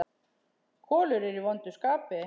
Kolur er í vondu skapi.